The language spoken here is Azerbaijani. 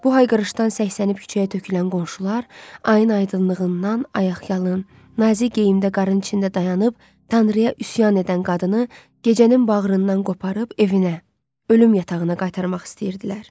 Bu hayqırışdan səksənib küçəyə tökülən qonşular, ayın aydınlığından ayaqyalın, nazik geyimdən qarın içində dayanıb tanrıya üsyan edən qadını gecənin bağrından qoparıb evinə, ölüm yatağına qaytarmaq istəyirdilər.